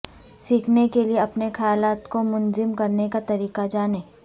سیکھنے کے لئے اپنے خیالات کو منظم کرنے کا طریقہ جانیں